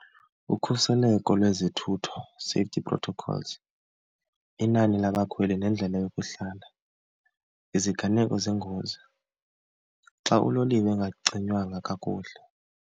Ukhuseleko lwezothutho, safety protocols, inani labakhweli nendlela yokuhlala, iziganeko zengozi xa uloliwe engacinywanga kakuhle.